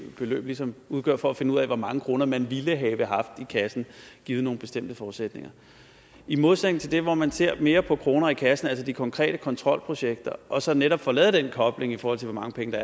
ligesom udgør for at finde ud af hvor mange kroner man ville have haft i kassen givet nogle bestemte forudsætninger i modsætning til det hvor man ser mere på kroner i kassen altså de konkrete kontrolprojekter og man så netop får lavet den kobling i forhold til hvor mange penge